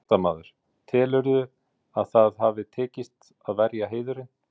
Fréttamaður: Telurðu að það hafi tekist, að verja heiðurinn?